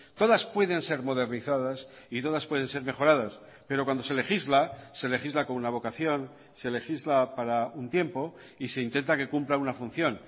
todas pueden ser modernizadas y todas pueden ser mejoradas pero cuando se legisla se legisla con una vocación se legisla para un tiempo y se intenta que cumpla una función